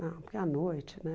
Não, porque é à noite, né?